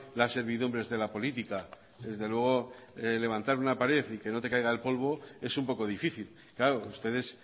las servidumbres de la política desde luego levantar una pared y que no te caiga el polvo es un poco difícil claro ustedes